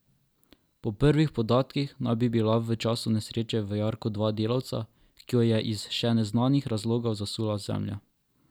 Po prvih podatkih naj bi bila v času nesreče v jarku dva delavca, ki ju je iz še neznanih razlogov zasula zemlja.